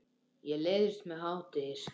Ég læðist með hádegis